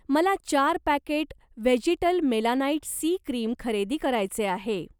मला चार packet vegetal melanite C cream खरेदी करायचे आहे.